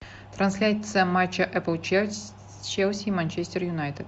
трансляция матча апл челси и манчестер юнайтед